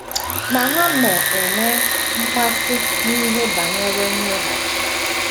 Ma ha nọ- enwe mmasị n’ihe banyere mweghachi.